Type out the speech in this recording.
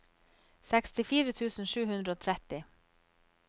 sekstifire tusen sju hundre og tretti